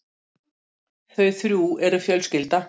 Þau þrjú eru fjölskylda.